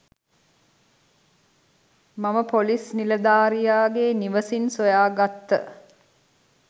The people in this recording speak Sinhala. මම පොලිස් නිලධාරියාගේ නිවසින් සොයාගත්ත